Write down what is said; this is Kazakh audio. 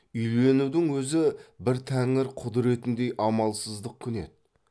үйленудің өзі бір тәңір құдіретіндей амалсыздық күні еді